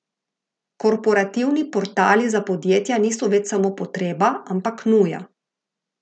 Korporativni portali za podjetja niso več samo potreba, ampak nuja.